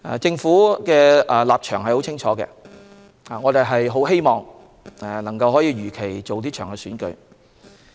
政府的立場十分清晰，我們很希望能夠如期辦好這場選舉。